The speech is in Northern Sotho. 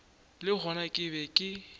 le gona ke be ke